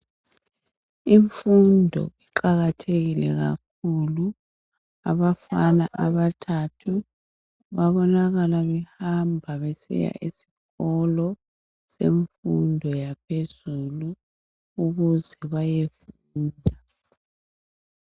Imfundo iqakatheke kakhulu abafana abathathu babonakala behamba besiya esikolo semfundo yaphezulu ukuze bayefunda.